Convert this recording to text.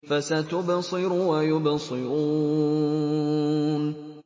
فَسَتُبْصِرُ وَيُبْصِرُونَ